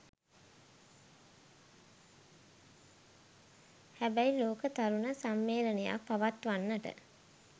හැබැයි ලෝක තරුණ සම්මේලනයක් පවත්වන්නට